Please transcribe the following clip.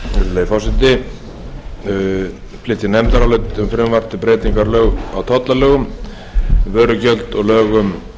virðulegi forseti við flytjum nefndarálit um frumvarp til breytingar á tollalögum vörugjaldi og lögum um